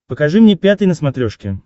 покажи мне пятый на смотрешке